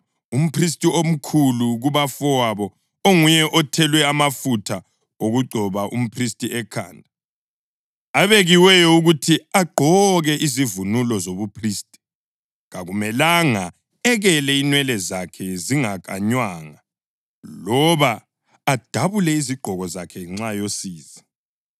Umphristi omkhulu kubafowabo, onguye othelwe amafutha okugcoba umphristi ekhanda, abekiweyo ukuthi agqoke izivunulo zobuphristi, kakumelanga ekele inwele zakhe zingakanywanga loba adabule izigqoko zakhe ngenxa yosizi.